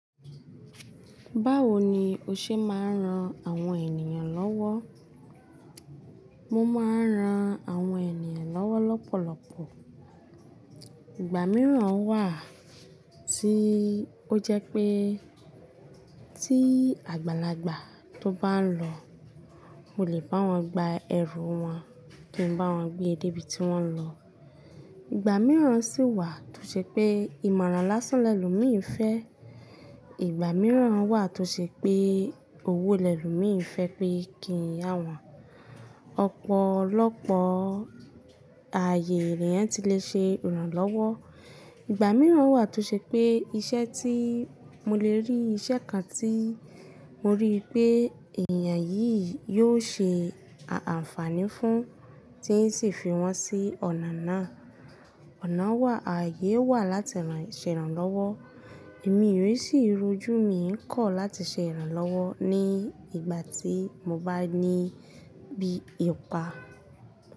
Báwo ni o ṣe máa ń ran àwọn ènìyàn lọ́wọ́? Mo máa ń ran àwọn ènìyàn lọ́wọ́ lọ́pọ̀lọpọ̀. Ìgbà mìíràn wà tí ó jẹ́ pé tí àgbàlagbà tó bá ń lọ, mo lè bá wọn gba ẹrù wọn kí n bá wọn gbé dé ibi tí wọ́n ń lọ. Ìgbà mìíràn sì wà tó ṣe pé ìmọ̀ràn lásán lelomií ń fẹ́. Ìgbà mìíràn wà tó ṣe pé owó lẹ́lomii ń fẹ́ pé kí n yà wọn ọ̀pọ̀lọpọ̀ ààyè leeyan tí lè ṣe ìrànlọ́wọ́. Ìgbà mìíràn wà tó ṣe pé iṣẹ́ tí mo lè rí iṣẹ́ kan tí mo rí pé èèyàn yìí yóò ṣe àǹfààní fún tí ẹ sì fi wọ́n sí ọ̀nà náà. Ọ̀nà wà, ààyè wà láti ṣe ìrànlọ́wọ́. Èmi re sì rujú mi ń kọ̀ láti ṣe ìrànlọ́wọ́ ní ìgbà tí mo bá ní bí ipa.